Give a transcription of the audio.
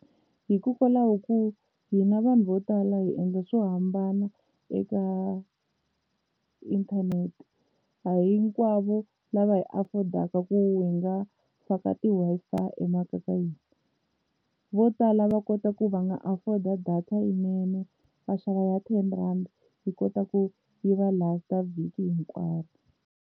Hikokwalaho ko hina vanhu vo tala hi endla swo hambana eka inthanete a hinkwavo lava hi afford-aka ku hi nga faka ti-Wi-Fi emakaya ka hina, vo tala va kota ku va nga afford-a data yinene va xava ya ten rand yi kota ku yi va last vhiki hinkwaro.